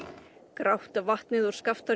grátt vatnið úr